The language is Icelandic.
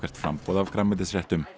framboð af grænmetisréttum